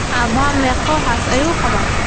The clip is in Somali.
Abahaa meqo xasas ayuu qawaa?